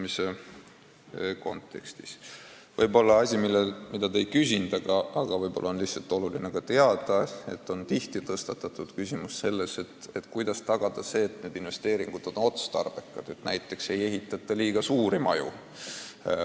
Selle kohta te küll ei küsinud, aga võib-olla on oluline teada, et tihti on tõstatatud küsimus, kuidas tagada see, et investeeringud on otstarbekad, et näiteks ei ehitata liiga suuri maju.